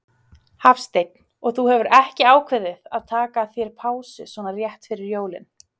Hafsteinn: Og þú hefur ekki ákveðið að taka þér pásu svona rétt fyrir jólin?